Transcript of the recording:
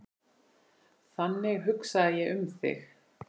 Þannig hugsaði ég um þig.